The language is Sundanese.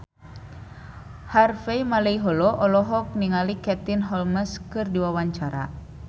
Harvey Malaiholo olohok ningali Katie Holmes keur diwawancara